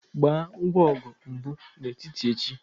Gbaa ngwa ọgụ mbụ n'ụtụtụ echi